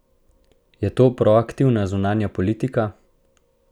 Je to proaktivna zunanja politika?